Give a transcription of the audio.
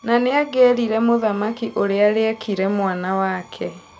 Na nĩangĩerire mũthamaki ũrĩa rĩekĩire mwana wake.